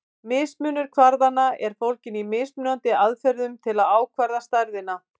Mismunur kvarðanna er fólginn í mismunandi aðferðum til að ákvarða stærðina.